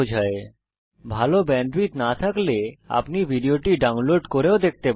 যদি ভাল ব্যান্ডউইডথ না থাকে তাহলে আপনি ভিডিও টি ডাউনলোড করে দেখতে পারেন